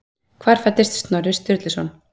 Hvar fæddist Snorri Sturluson?